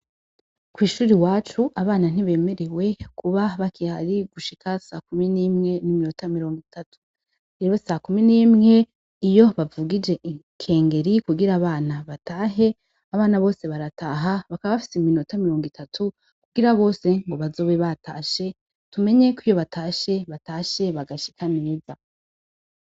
Kw'ishuri wacu abana ntibemerewe kuba bakihari gushika sa kumi n'imwe n'iminota mirongo itatu, rero sa kumi n'imwe iyo bavugije ikengeri kugira abana batahe abana bose barataha bakabafise iminota mirongo itatu kugira bose ngo bazobe batashe tumenyeko iyo batahe se bata shiye bagashika meza.